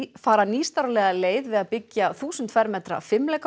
fara nýstárlega leið við að byggja þúsund fermetra